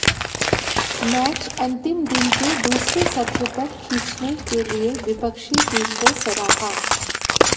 match अंतिम दिन के दूसरे सत्र तक खींचने के लिए विपक्षी टीम को सराहा